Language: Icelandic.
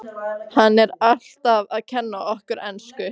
Hann er alltaf að kenna okkur ensku!